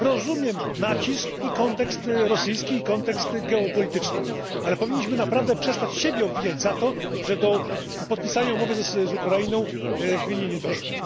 Rozumiem nacisk i kontekst rosyjski, i kontekst geopolityczny, ale powinniśmy naprawdę przestać siebie obwiniać za to, że do podpisania umowy z Ukrainą w Wilnie nie doszło.